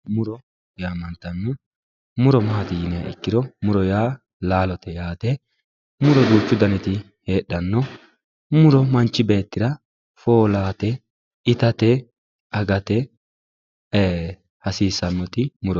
muro yaamantanno muro maati yiniha ikkiro muro yaa laalote yaate muro duuchu daniti heedhanno muro manchi beettira foolawoote itate agate hasiissannoti murote